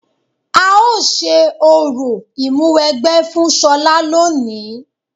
A ó ṣe orò Ìmúwẹgbẹ́ fún ṣọlá lónìí